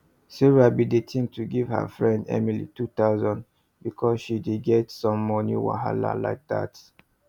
sarah been dey think to give her friend emily 2000 because say she dey get some moni wahala like that